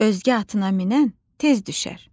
Özgə atına minən tez düşər.